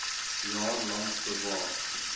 jaar lank bewaar